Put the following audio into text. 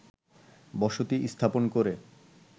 বসতি স্থাপন করে